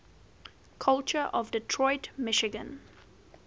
culture of detroit michigan